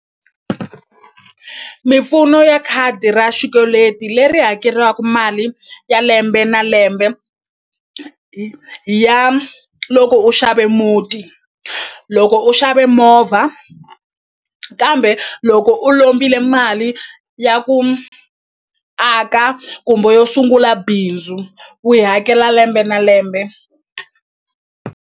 Mimpfuno ya khadi ra xikweleti leri hakelaka mali ya lembe na lembe ya loko u xave muti loko u xave movha kambe loko u lombile mali ya ku aka kumbe yo sungula bindzu u yi hakela lembe na lembe.